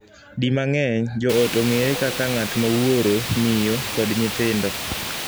Di mang'eny, joot ong'ere kaka ng'at ma wuoro, miyo, kod nyithindo.